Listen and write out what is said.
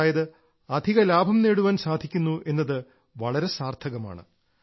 അതായത് അധിക ലാഭം നേടാൻ സാധിക്കുന്നു എന്നത് വളരെ സാർത്ഥകമാണ്